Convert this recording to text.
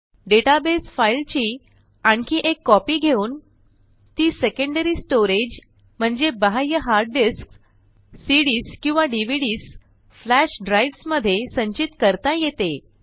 database फाईलची आणखी एक कॉपी घेऊन ती सेकंडरी स्टोरेज म्हणजे बाह्य हार्ड डिस्क्स सीडीएस किंवा डीव्हीडीएस फ्लॅश ड्राइव्हस मधे संचित करता येते